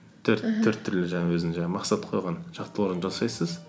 төрт түрлі жаңағы өзінің жаңағы мақсат қойған жаттығуларын жасайсыз